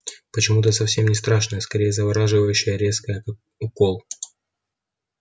почему-то совсем не страшное скорее завораживающее резкое как укол